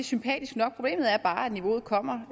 sympatisk nok men problemet er bare at niveauet kommer